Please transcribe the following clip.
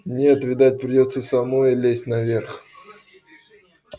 нет видать придётся самой лезть наверх